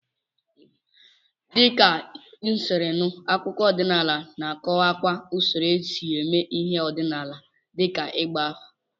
Dịka m siri nụ, akụkọ ọdịnala na-akọwakwa usoro esi eme ihe ọdịnala dịka ịgba afa.